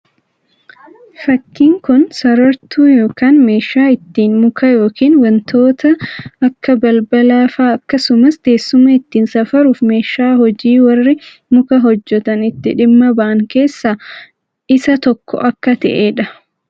Fakkiin kun sarartuu yookaan meeshaa ittiin muka yookiin wantoota akka balbalaa fa'aa akkasumas teessuma ittiin safaruuf meeshaa hojii warri muka hojjetan itti dhimma ba'aan keessaa isa tokko akka ta'ee dha.